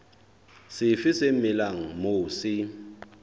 sefe se melang moo se